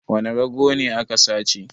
Wane rago ne aka sace?